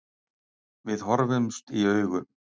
Við horfumst í augu.